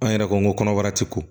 An yɛrɛ ko kɔnɔbara ti ko